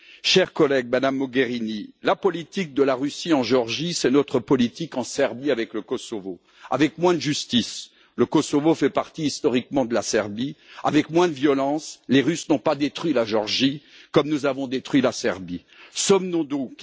Chers collègues, Madame Mogherini, la politique de la Russie en Géorgie, c'est notre politique en Serbie avec le Kosovo avec moins de justice avec moins de violence Sommes nous donc